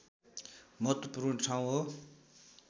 महत्त्वपूर्ण ठाउँ हो